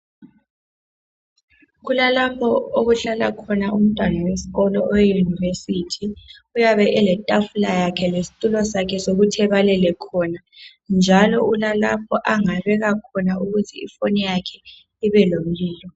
Kulalapho okuhlala khona umntwana wesikolo oweyunivesithi uyabe eletafula yakhe lesitulo sakhe okokuthi ebalele khona njalo ulalapho angabeka khona ifoni yakhe ukuthi ibe lomlilo,